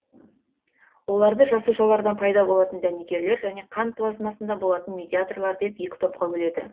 оларды жасушалардан пайда болатын дәнекерлер және қан плазмасында болатын медиаторлар деп екі топқа бөледі